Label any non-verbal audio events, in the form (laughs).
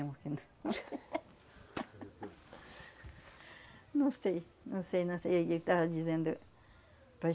(laughs) Não sei, não sei, não sei o que ele estava dizendo para